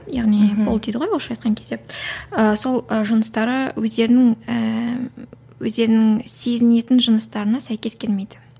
яғни пол дейді ғой орысша айтқан кезде ыыы сол ы жыныстары өздерінің ііі өздерінің сезінетін жыныстарына сәйкес келмейді